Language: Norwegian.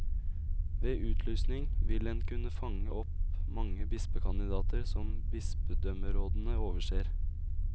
Ved utlysning vil en kunne fange opp mange bispekandidater som bispedømmerådene overser.